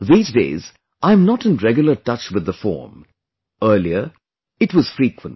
These days I'm not in regular touch with the form... earlier it was frequent